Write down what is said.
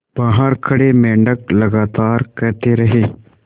बाहर खड़े मेंढक लगातार कहते रहे